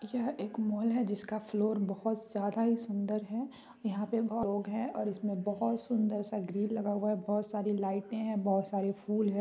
यहां एक माल है जिसका फ्लोर बहुत ज्यादा ही सुंदर है यहापे बहोत लोग है और इसमें बहुत सुंदर सा ग्रिल लगा हुआ है बहुत सारी लाइटें है बहोत सारे फूल है ।